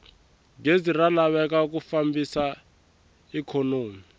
gezi ra laveka ku fambisa ikhonomi